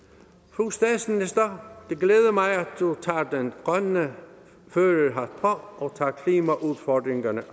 fru statsminister det glæder mig at du tager den grønne førerhat på og tager klimaudfordringerne